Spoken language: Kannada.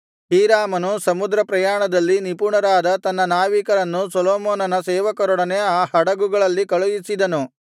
ಹೀರಾಮನು ಸಮುದ್ರ ಪ್ರಯಾಣದಲ್ಲಿ ನಿಪುಣರಾದ ತನ್ನ ನಾವಿಕರನ್ನು ಸೊಲೊಮೋನನ ಸೇವಕರೊಡನೆ ಆ ಹಡಗುಗಳಲ್ಲಿ ಕಳುಹಿಸಿದನು